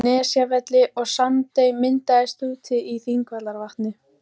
Nesjavelli, og Sandey myndaðist úti í Þingvallavatni.